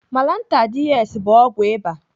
Malantar DS bụ ọgwụ ịba.